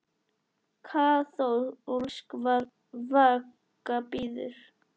Kaþólsk vaka bíður.